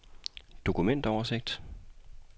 dokumentoversigt